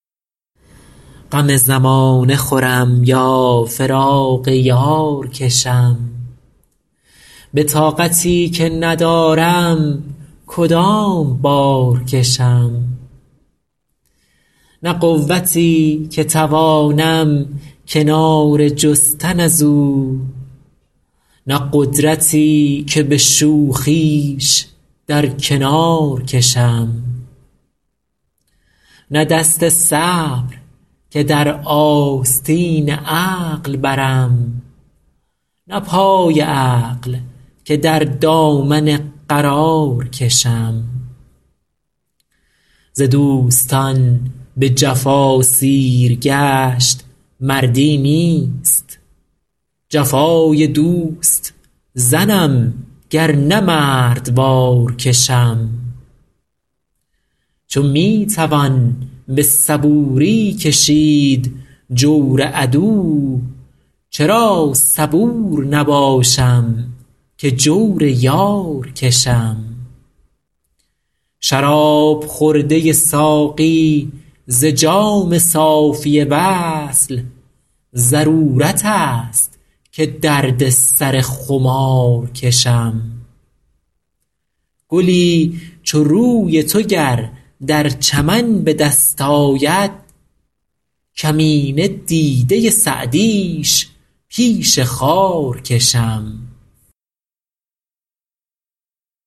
غم زمانه خورم یا فراق یار کشم به طاقتی که ندارم کدام بار کشم نه قوتی که توانم کناره جستن از او نه قدرتی که به شوخیش در کنار کشم نه دست صبر که در آستین عقل برم نه پای عقل که در دامن قرار کشم ز دوستان به جفا سیرگشت مردی نیست جفای دوست زنم گر نه مردوار کشم چو می توان به صبوری کشید جور عدو چرا صبور نباشم که جور یار کشم شراب خورده ساقی ز جام صافی وصل ضرورت است که درد سر خمار کشم گلی چو روی تو گر در چمن به دست آید کمینه دیده سعدیش پیش خار کشم